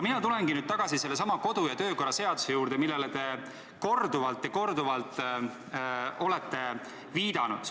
Ma tulen nüüd tagasi sellesama kodu- ja töökorra seaduse juurde, millele te olete korduvalt ja korduvalt viidanud.